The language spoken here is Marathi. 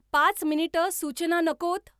पाच मिनिटं सूचना नकोत.